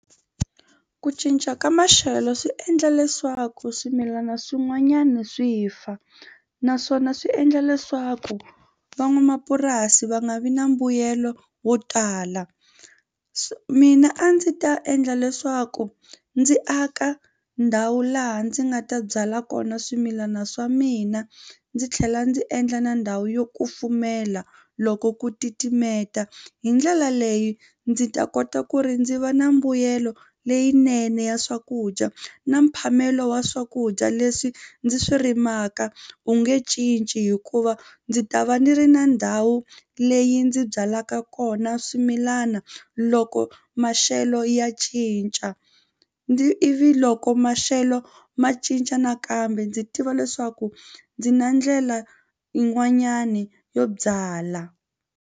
Ku cinca ka maxelo swi endla leswaku swimilana swin'wanyana swi fa naswona swi endla leswaku van'wamapurasi va nga vi na mbuyelo wo tala swi mina a ndzi ta endla leswaku ndzi aka ndhawu laha ndzi nga ta byala kona swimilana swa mina ndzi tlhela ndzi endla na ndhawu yo kufumela loko ku titimeta. Hi ndlela leyi ndzi ta kota ku ri ndzi va na mbuyelo leyinene ya swakudya na mphamelo wa swakudya leswi ndzi swi rimaka wu nge cinci hikuva ndzi ta va ni ri na ndhawu leyi ndzi byalaka kona swimilana loko maxelo ya cinca ndzi ivi loko maxelo ma cinca nakambe ndzi tiva leswaku ndzi na ndlela yin'wanyani yo byala.